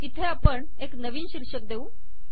इथे आपण एक नवीन शीर्षक देऊ